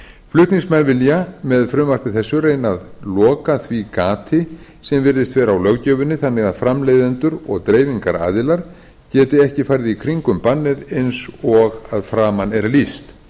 flutningsmenn vilja með frumvarpi þessu reyna að loka því gati sem virðist vera á löggjöfinni þannig að framleiðendur og dreifingaraðilar geti ekki farið í kringum bannið eins og að framan er lýst